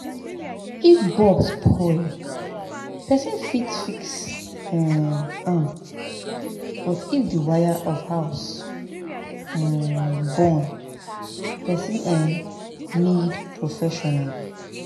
if bulb spoil person fit fix um am but if the wire of house um burn person um need professional